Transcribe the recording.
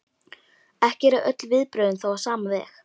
Ekki eru öll viðbrögðin þó á sama veg.